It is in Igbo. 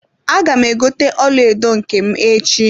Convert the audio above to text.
Aga m egote ọlaedo nke m echi.